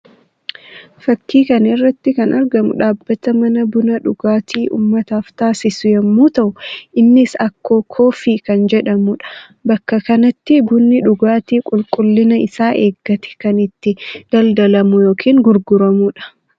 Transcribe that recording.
Fakkii kana irratti kan argamu dhaabbata mana buna dhugaatii uummataaf taasisu yammuu ta'u; innis Akkoo koffii kan jedhamuu dha. Bakka kanatti bunni dhugaatii qulqullina isaa eeggate kan itti daldalamu yookiin gurguramuu dha.